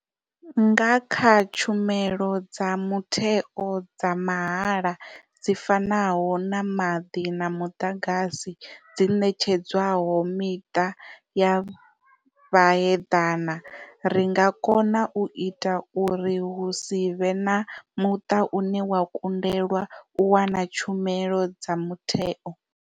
Nga kha tshumelo dza mutheo dza mahala dzi fanaho na maḓi na muḓagasi dzi ṋetshedzwaho miṱa ya vhaheḓana, ri nga kona u ita uri hu si vhe na muṱa une wa kundelwa u wana tshumelo dza mutheo.